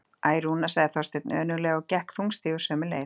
Æ, Rúna sagði Þorsteinn önuglega og gekk þungstígur sömu leið.